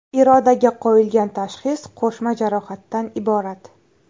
Irodaga qo‘yilgan tashxis qo‘shma jarohatdan iborat.